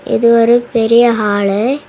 இது ஒரு பெரிய ஹாலு .